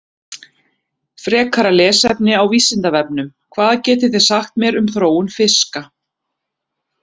Frekara lesefni á Vísindavefnum: Hvað getið þið sagt mér um þróun fiska?